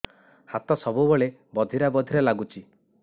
ହାତ ସବୁବେଳେ ବଧିରା ବଧିରା ଲାଗୁଚି